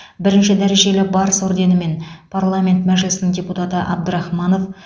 бірінші дәрежелі барыс орденімен парламент мәжілісінің депутаты абдрахманов